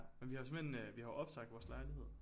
Men vi har jo simpelthen vi har jo opsagt vores lejlighed